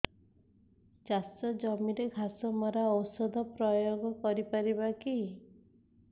ଚାଷ ଜମିରେ ଘାସ ମରା ଔଷଧ ପ୍ରୟୋଗ କରି ପାରିବା କି